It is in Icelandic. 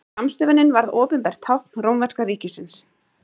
Skammstöfunin varð opinbert tákn rómverska ríkisins.